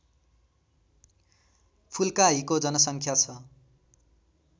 फुल्काहीको जनसङ्ख्या छ